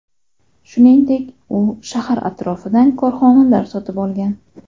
Shuningdek u shahar atrofidan korxonalar sotib olgan.